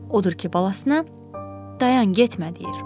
Odur ki, balasına dayan getmə deyir.